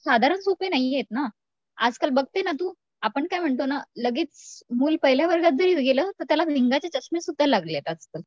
साधारण सोपे नाहीयेत ना. आजकाल बघते ना तू आपण काय म्हणतो लगेच मूल पहिल्या वर्गात जरी गेलं तर त्याला भिंगाचे चष्मे सुद्धा लागलेत आजकाल.